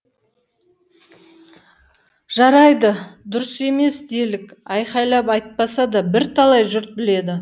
жарайды дұрыс емес делік айқайлап айтпаса да бірталай жұрт біледі